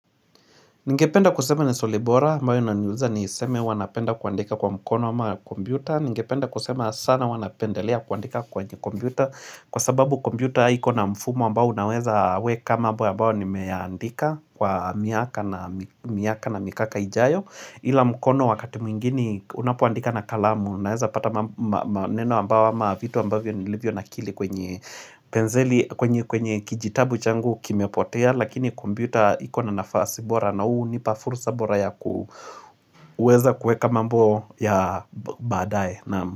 Ningependa kusema ni swali bora, ambayo inaniuliza niseme huwa napenda kuandika kwa mkono wama kombyuta. Ningependa kusema sana huwa napendelea kuandika kwenye kombiuta. Kwa sababu kombiuta haiko na mfumo ambao unaweza weka mambo ambao ni meandika kwa miaka na mikaka ijayo. Ila mkono wakati mwingine unapoandika na kalamu. Unaweza pata neno ambao ma vitu ambavyo nilivyo nakili kwenye penzeli, kwenye kijitabu changu kimepotea. Lakini kombiuta iko na nafasi bora na huu hunipa furusa bora ya kuweza kueka mambo ya badae.